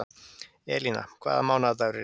Elina, hvaða mánaðardagur er í dag?